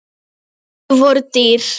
Orð voru dýr.